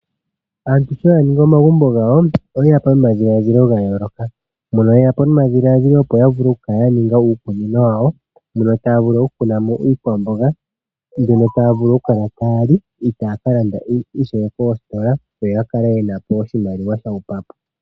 Aantu sho ya ningi omagumbo gawo, oyeya po nomadhiladhilo ga yooloka, mono yeya po nomadhiladhilo opo ya vule okukala ya ninga uukunino wawo, mono taa vulu okukunamo iikwamboga, mbyono taa vulu okukala taali, itaa ka landa ishewe koositola, yo ya kale yena oshimaliwa sha hupa po.